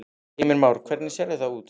Heimir Már: Hvernig sérðu það út?